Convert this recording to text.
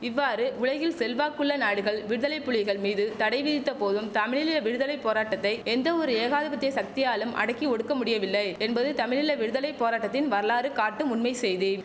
இவ்வாறு உலகில் செல்வாக்குள்ள நாடுகள் விடுதலைப்புலிகள் மீது தடை விதித்த போதும் தமிழீழ விடுதலை போராட்டத்தை எந்த ஒரு ஏகாதிபத்திய சக்தியாலும் அடக்கி ஒடுக்கமுடியவில்லை என்பது தமிழீழ விடுதலை போராட்டத்தின் வரலாறு காட்டும் உண்மை செய்தி